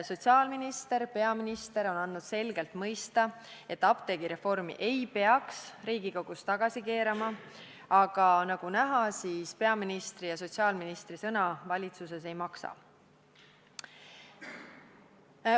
Sotsiaalminister ja peaminister on andnud selgelt mõista, et apteegireformi ei peaks Riigikogus tagasi keerama, aga nagu näha, peaministri ja sotsiaalministri sõna valitsuses ei maksa.